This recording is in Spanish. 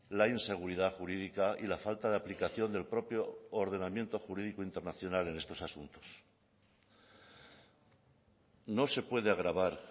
la inseguridad jurídica y la falta de aplicación del propio ordenamiento jurídico internacional en estos asuntos no se puede agravar